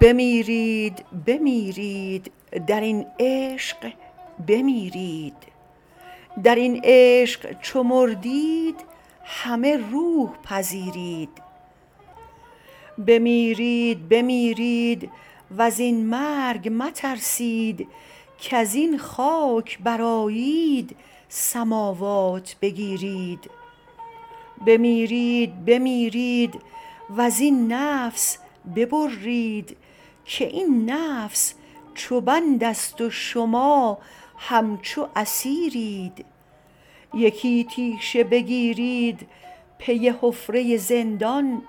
بمیرید بمیرید در این عشق بمیرید در این عشق چو مردید همه روح پذیرید بمیرید بمیرید و زین مرگ مترسید کز این خاک برآیید سماوات بگیرید بمیرید بمیرید و زین نفس ببرید که این نفس چو بندست و شما همچو اسیرید یکی تیشه بگیرید پی حفره زندان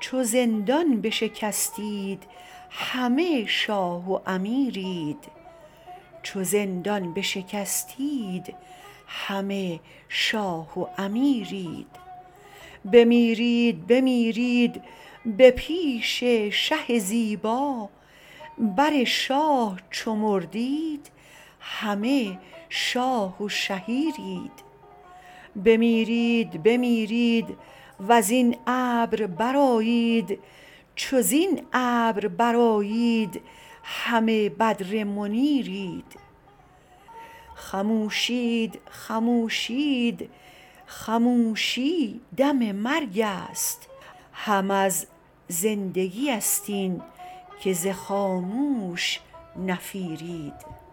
چو زندان بشکستید همه شاه و امیرید بمیرید بمیرید به پیش شه زیبا بر شاه چو مردید همه شاه و شهیرید بمیرید بمیرید و زین ابر برآیید چو زین ابر برآیید همه بدر منیرید خموشید خموشید خموشی دم مرگست هم از زندگیست اینک ز خاموش نفیرید